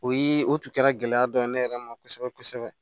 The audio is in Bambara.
O ye o tun kɛra gɛlɛya dɔ ye ne yɛrɛ ma kosɛbɛ kosɛbɛ